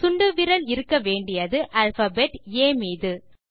சுண்டுவிரல் இருக்க வேண்டியது alphabet A மீது